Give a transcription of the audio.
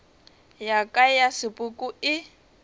ya ka ya sepoko e